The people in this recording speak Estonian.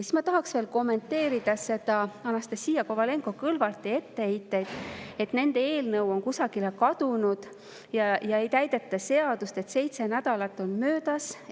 Siis ma tahaks veel kommenteerida Anastassia Kovalenko-Kõlvarti etteheidet, et nende eelnõu on kusagile kadunud ja et ei täideta seadust, sest seitse nädalat on möödas.